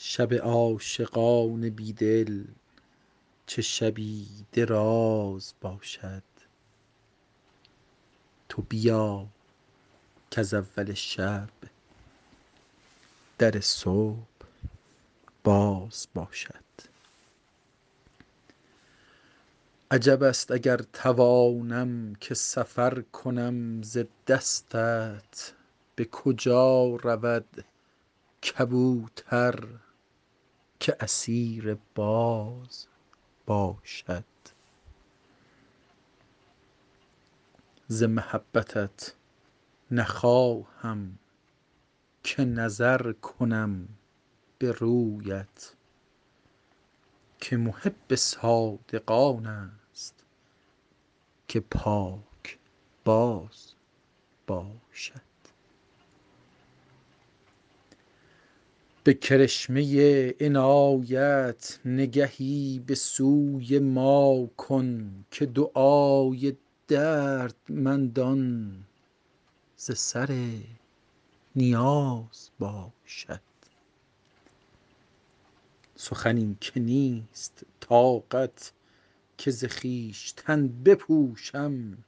شب عاشقان بی دل چه شبی دراز باشد تو بیا کز اول شب در صبح باز باشد عجب است اگر توانم که سفر کنم ز دستت به کجا رود کبوتر که اسیر باز باشد ز محبتت نخواهم که نظر کنم به رویت که محب صادق آن است که پاکباز باشد به کرشمه عنایت نگهی به سوی ما کن که دعای دردمندان ز سر نیاز باشد سخنی که نیست طاقت که ز خویشتن بپوشم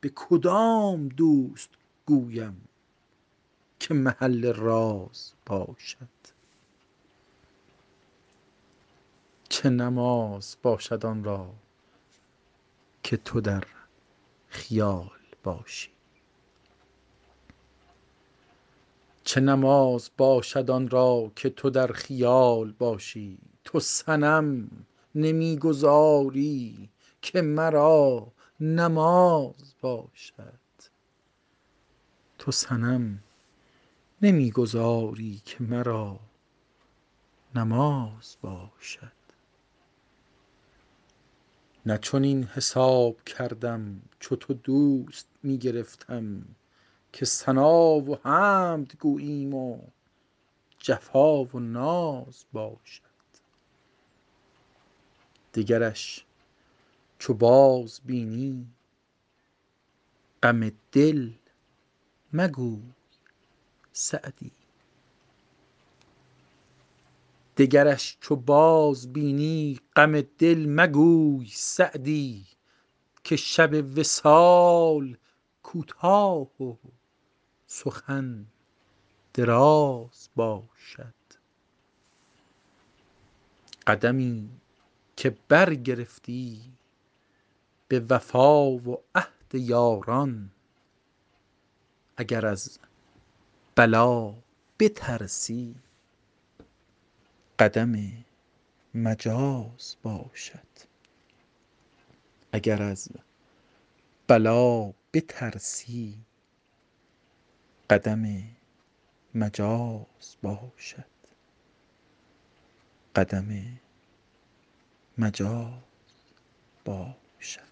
به کدام دوست گویم که محل راز باشد چه نماز باشد آن را که تو در خیال باشی تو صنم نمی گذاری که مرا نماز باشد نه چنین حساب کردم چو تو دوست می گرفتم که ثنا و حمد گوییم و جفا و ناز باشد دگرش چو بازبینی غم دل مگوی سعدی که شب وصال کوتاه و سخن دراز باشد قدمی که برگرفتی به وفا و عهد یاران اگر از بلا بترسی قدم مجاز باشد